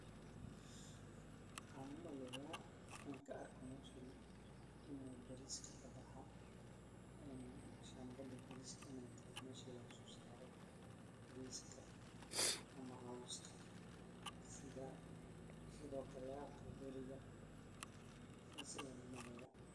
Waxaan umaleyaa aan kaarko meshan in uu bariska kabaxa ee shambasha bariska in ey tahay mesha lagasosaaro bariska ama cowska sidhokale caqal guriga sidhaas ayaan umaleyaa.